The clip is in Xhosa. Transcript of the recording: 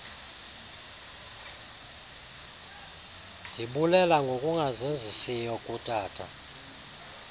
ndibulela ngongazenzisiyo kutata